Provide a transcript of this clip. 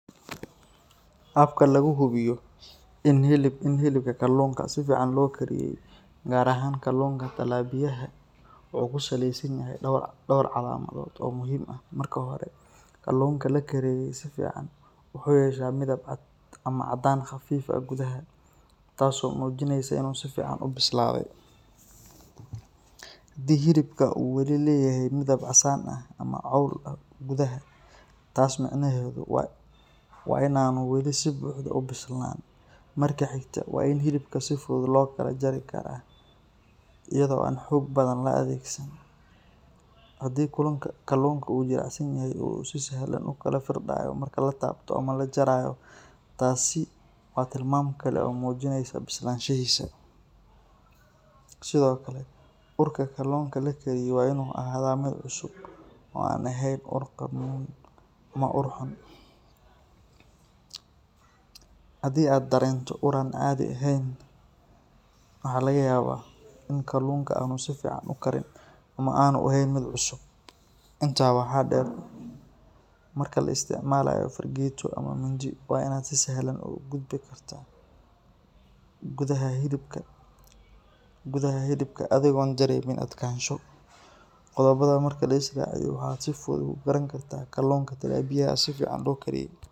Habka lagu hubiyo in hilibka kalluunka si fiican loo kariyey, gaar ahaan kalluunka talapiyaha, wuxuu ku saleysan yahay dhowr calaamadood oo muhiim ah. Marka hore, kalluunka la kariyey si fiican wuxuu yeeshaa midab cad ama caddaan khafiif ah gudaha, taas oo muujinaysa in uu si fiican u bislaaday. Haddii hilibka uu weli leeyahay midab casaan ama cawl ah gudaha, taas micnaheedu waa in aanu weli si buuxda u bislaan. Marka xigta, waa in hilibka si fudud loo kala jari karaa iyadoo aan xoog badan la adeegsan. Haddii kalluunka uu jilicsan yahay oo uu si sahlan u kala firdhayo marka la taabto ama la jarayo, taasi waa tilmaam kale oo muujinaysa bislaanshihiisa. Sidoo kale, urka kalluunka la kariyey waa inuu ahaadaa mid cusub oo aan ahayn ur qadhmuun ama ur xun. Haddii aad dareento ur aan caadi ahayn, waxaa laga yaabaa in kalluunka aanu si fiican u karin ama aanu ahayn mid cusub. Intaa waxaa dheer, marka la isticmaalayo fargeeto ama mindi, waa in aad si sahlan ugu gudbi kartaa gudaha hilibka adigoon dareemin adkaansho. Qodobadan marka la is raaciyo, waxaad si fudud ku garan kartaa in kalluunka talapiyaha si fiican loo kariyey.